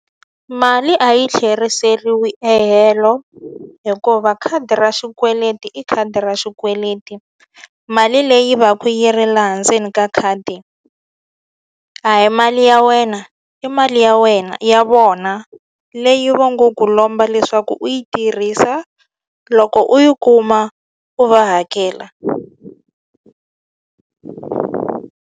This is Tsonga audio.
Mali a yi tlheriseriwi e helo hikuva khadi ra xikweleti i khadi ra xikweleti mali leyi va ku ri laha ndzeni ka khadi a hi mali ya wena i mali ya wena ya vona leyi va ngo ku lomba leswaku u yi tirhisa loko u yi kuma u va hakela.